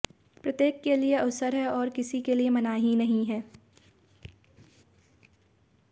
प्रत्येक के लिए अवसर है और किसी के लिए मनाही नहीं है